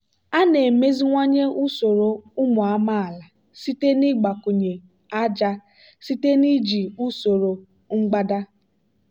a na-emeziwanye usoro ụmụ amaala site n'ịgbakwụnye ájá site na iji usoro mgbada.